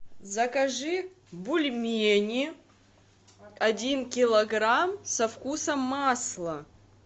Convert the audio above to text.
закажи бульмени один килограмм со вкусом масла